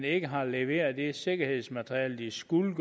ikke har leveret det sikkerhedsmateriale de skulle